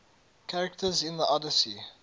characters in the odyssey